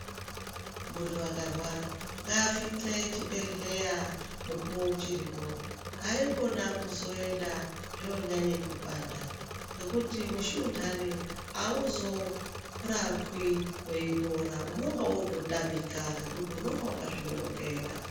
Muntu akarwara ngasvike chibhehleya mukuwo uchuripo. Haikona kuzoenda zvonyanye kupanda ngekuti mushuna awuzorapwi weipora unonga wototamika ngekuti unenge wakazvinonokera.